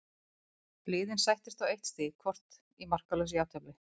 Liðin sættust á eitt stig hvort í markalausu jafntefli.